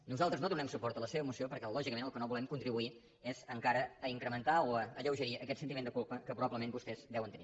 nosaltres no donarem suport a la seva moció perquè lògicament al que no volem contribuir és encara a incrementar o a alleugerir aquest sentiment de culpa que probablement vostès deuen tenir